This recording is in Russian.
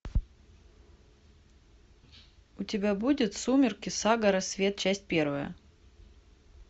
у тебя будет сумерки сага рассвет часть первая